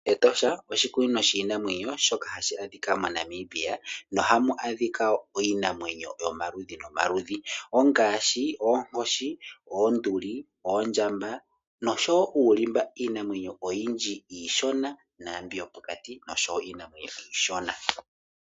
Etosha oshikunino shiinamwenyo shoka hashi adhika moNamibia nohamu adhika iinamwenyo yomaludhi nomaludhi